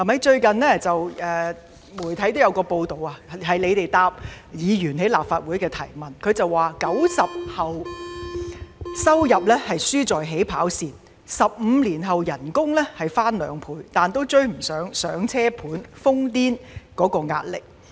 最近，有媒體報道政府回應立法會議員的質詢時指出 ，"90 後"的收入輸在起跑線 ，15 年後的薪金雖已翻兩倍，但仍未能追上"上車盤"樓市瘋癲的壓力。